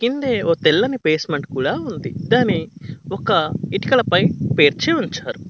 కిందే ఓ తెల్లని బేస్మెంట్ కూడా ఉంది దాన్ని ఒక ఇటుకల పై పేర్చి ఉంచారు.